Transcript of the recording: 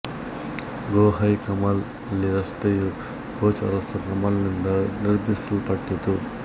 ಗೋ ಹೈ ಕಮಾಲ್ ಅಲಿ ರಸ್ತೆಯು ಕೋಚ್ ಅರಸ ಕಮಾಲ್ ನಿಂದ ನಿರ್ಮಿಸಲ್ಪಟ್ಟಿತು